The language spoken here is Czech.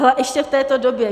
A ještě v této době.